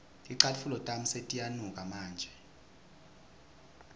ticatfulo tami setiyanuka manje